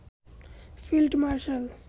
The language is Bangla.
field marshal